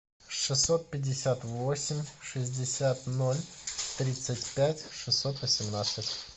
шестьсот пятьдесят восемь шестьдесят ноль тридцать пять шестьсот восемнадцать